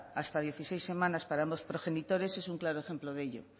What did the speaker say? hasta dieciséis semanas para ambos progenitores es un claro ejemplo de ello